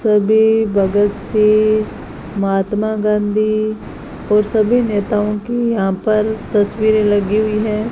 सभी भगत सिंह महात्मा गांधी और सभी नेताओं की यहां पर तस्वीरें लगीं हुईं है।